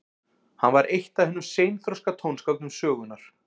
hann var eitt af hinum seinþroska tónskáldum sögunnar